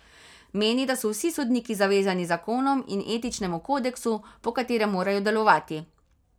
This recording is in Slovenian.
Meni, da so vsi sodniki zavezani zakonom in etičnemu kodeksu, po katerem morajo delovati.